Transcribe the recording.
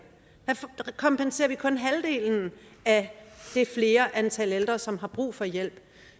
der kompenserer vi kun halvdelen af det flere antal af ældre som har brug for hjælp